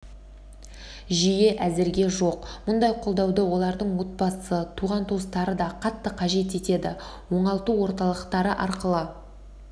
жүйе әзірге жоқ мұндай қолдауды олардың отбасы туған-туыстары да қатты қажет етеді оңалту орталықтары арқылы